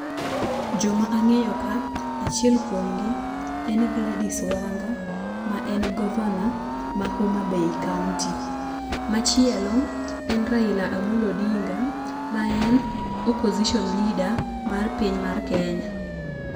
Joma ang'eyo ka achiel kuomgi en Gladys Wanga ma en governor ma Homabay kaunti . Machielo en Raila Amolo Odinga , ma en opposition leader mar piny mar kenya.